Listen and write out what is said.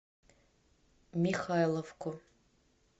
михайловку